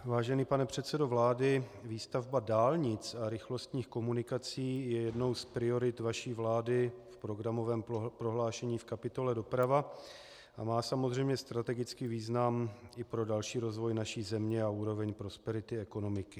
Vážený pane předsedo vlády, výstavba dálnic a rychlostních komunikací je jednou z priorit vaší vlády v programovém prohlášení v kapitole Doprava a má samozřejmě strategický význam i pro další rozvoj naší země a úroveň prosperity ekonomiky.